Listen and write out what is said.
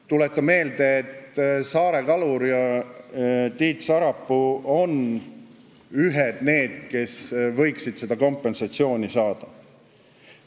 Tuletan meelde, et Saare Kalur ja Tiit Sarapuu on ühed neist, kes võiksid seda kompensatsiooni saada.